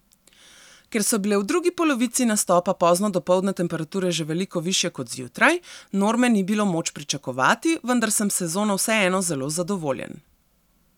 Ker so bile v drugi polovici nastopa pozno dopoldne temperature že veliko višje kot zjutraj, norme ni bilo moč pričakovati, vendar sem s sezono vseeno zelo zadovoljen.